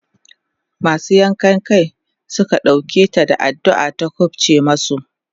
masu yankan Kai Suka ɗauke ta da addu'a ta kufce masu